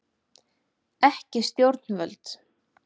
Ekki stjórnvöld.